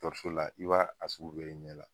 Dɔkɔtɔrɔso la i b'a sugu bɛɛ y'i ɲɛ la